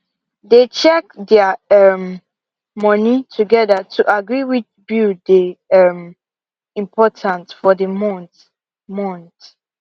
they check their um money together to agree which bill dey um important for the month month